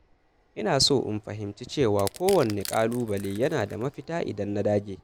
Ina so in fahimci cewa kowanne ƙalubale yana da mafita idan na dage.